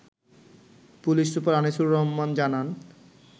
police super Anisur Rahman জানান